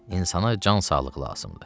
İnsana can sağlığı lazımdır.